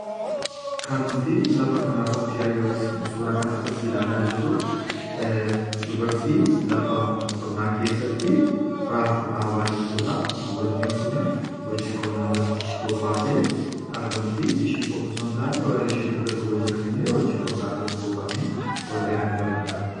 kan nuti lafa kana Irratti Yookaan suura kana irratti ilaalaa jirru dubartii lafa qonnaa keessatti raafuu dhaabaa jirtuudha. Dubartiin kuni hojii qonnaa irratti bobbaatee argamti. Ishii qofa osoo hin taane warri ishii dugda dubaa jiran illee hojii qonnaa irratti bobba’anii warreen argamaniidha.